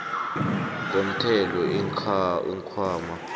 komthelo iinkhwama